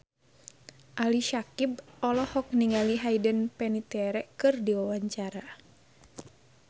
Ali Syakieb olohok ningali Hayden Panettiere keur diwawancara